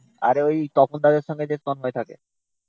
আরে ওই তপন দাদের সাথে যে তন্ময় থাকে